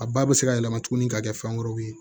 A ba bɛ se ka yɛlɛma tuguni ka kɛ fɛn wɛrɛw ye